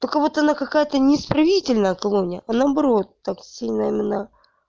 только вот она какая-то не исправительная колония а наоборот так сильно именно